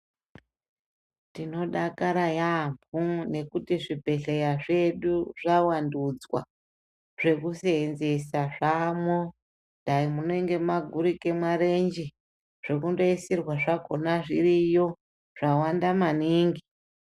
Tinodakara yamho ngekuti zvibhehleya zvedu zvavandudzwa zvekusenzesa zvamwo dai munenge mwagurika marenje zvokundoisirwa zvakona zviriyo zvawanda maningi.